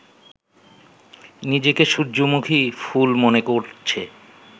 নিজেকে সূর্যমুখী ফুল মনে করছে